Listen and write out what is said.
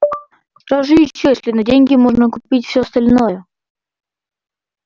что же ещё если на деньги можно купить всё остальное